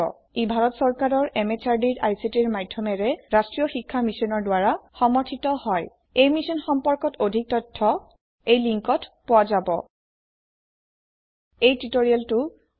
ই ভাৰত চৰকাৰৰ MHRDৰ ICTৰ মাধয়মেৰে ৰাস্ত্ৰীয় শিক্ষা মিছনৰ দ্ৱাৰা সমৰ্থিত হয় এই মিশ্যন সম্পৰ্কত অধিক তথ্য spoken hyphen tutorial dot org slash NMEICT hyphen intro ৱেবচাইটত পোৱা যাব